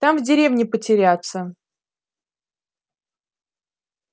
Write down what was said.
там в деревне потеряться